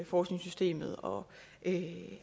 forskningssystemet og